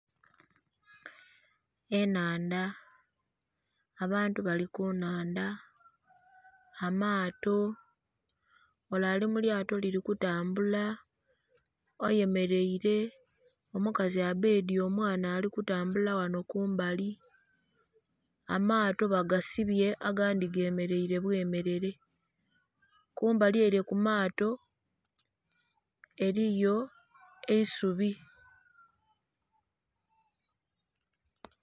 Ennhandha. Abantu bali ku nnhandha. Amaato. Ole ali mu lyato lili kutambula, ayemeleile. Omukazi abbedye omwana ali kutambula ghano kumbali. Amaato bagasibye agandhi gemeleile bwemelele. Kumbali ele ku maato eliyo eisubi.